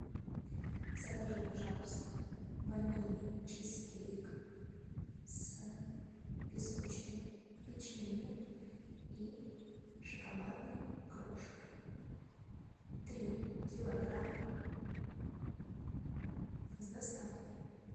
закажи пожалуйста ванильный чизкейк с песочным печеньем и шоколадной крошкой три килограмма с доставкой